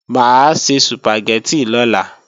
Mà á se Sùpàgẹ́tì lọ́la